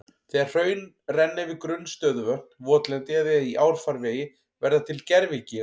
Þegar hraun renna yfir grunn stöðuvötn, votlendi eða í árfarvegi verða til gervigígar.